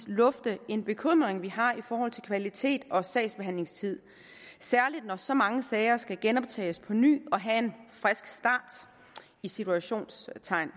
lufte en bekymring vi har i forhold til kvalitet og sagsbehandlingstid særlig når så mange sager skal genoptages på ny og have en i citationstegn